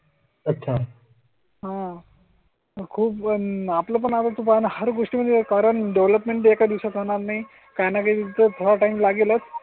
अच्छा. हो. खूप पण आपण आता तुम हर गोष्ट म्हणजे कारण डेवलपमेंट एका दिवसात होणार नाही. काही नाही तिथं हां टाइम लागेल.